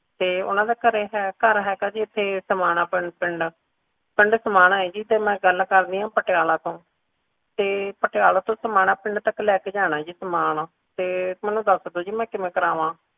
ਤੇ ਓਹਨਾ ਦਾ ਘਰੇ ਹੈ ਘਰ ਹੈਗਾ ਜੀ ਇਥੇ ਸਮਾਣਾ ਪਿੰਡ ਪਿੰਡ ਸਮਾਣਾ ਹੈ ਜੀ ਤੇ ਮੈਂ ਗੱਲ ਕਰ ਰਹੀ ਆ ਪਟਿਆਲੇ ਤੋਂ ਤੇ ਪਟਿਆਲਾ ਤੋਂ ਸਮਾਣਾ ਪਿੰਡ ਤੱਕ ਲੈ ਕੇ ਜਾਣਾ ਹੈ ਜੀ ਸਾਮਾਨ ਤੇ ਮੈਨੂੰ ਦੱਸ ਦੋ ਜੀ ਮੈਂ ਕਿਵੇਂ ਕਰਾਵਾਂ